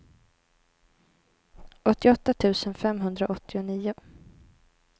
åttioåtta tusen femhundraåttionio